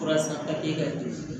Fura san e ka